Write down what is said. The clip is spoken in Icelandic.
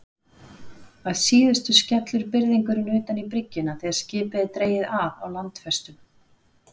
Að síðustu skellur byrðingurinn utan í bryggjuna þegar skipið er dregið að á landfestum.